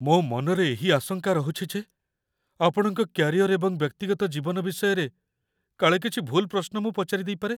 ମୋ ମନରେ ଏହି ଆଶଙ୍କା ରହୁଛି ଯେ ଆପଣଙ୍କ କ୍ୟାରିୟର ଏବଂ ବ୍ୟକ୍ତିଗତ ଜୀବନ ବିଷୟରେ କାଳେ କିଛି ଭୁଲ୍ ପ୍ରଶ୍ନ ମୁଁ ପଚାରି ଦେଇପାରେ।